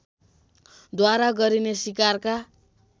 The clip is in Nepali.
द्वारा गरिने सिकारका